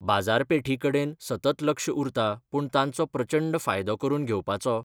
बाजारपेठी कडेन सतत लक्ष उरता पूण तांचो प्रचंड फायदो करून घेवपाचो